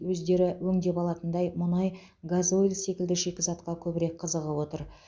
өздері өңдеп алатындай мұнай газойль секілді шикізатқа көбірек қызығып отыр